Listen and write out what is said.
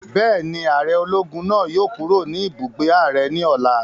Bẹ́ẹ̀ni, ààrẹ ológun náà yóò kúrò ní ibùgbé ààrẹ ní ọ̀la